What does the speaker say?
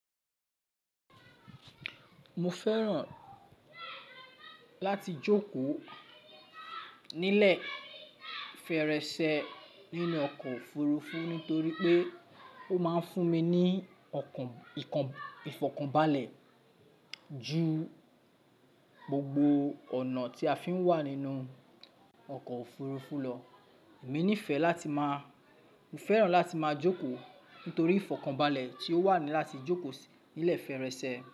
Mo fẹ́ràn láti jókòó nílẹ̀ fẹ́rẹ̀ẹ́ṣẹ́ nínú ọkọ̀ òfurufú nítorí pé ó máa ń fún mi ní ìfọ̀kànbalẹ̀ ju gbogbo ọ̀nà tí a fi ń wà nínú ọkọ̀ òfurufú lọ. Èmi nífẹ̀ẹ́ láti máa, mo fẹ́ràn láti máa jókòó nítorí ìfọ̀kànbalẹ̀ tí ó wà ní láti jókòó sí nílẹ̀ fẹ́rẹ̀ẹ́ṣẹ́